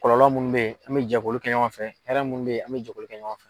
Kɔlɔlɔ munnu bɛ ye an mɛ jɛn k'olu kɛ ɲɔgɔn fɛ hɛrɛ minnu bɛ ye an mɛ jɛn k'olu kɛ ɲɔgɔn fɛ.